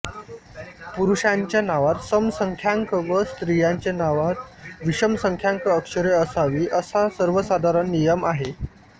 पुरुषांच्या नावात समसंख्यांक व स्त्रियांचे नावात विषमसंख्यांक अक्षरे असावी असा सर्वसधारण नियम आहे